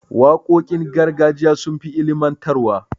Waƙoƙin gargajiya sun fi ilimantarwa.